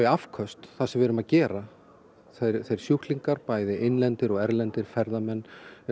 afköstin það sem við erum að gera sjúklingana bæði innlenda og erlenda ferðamenn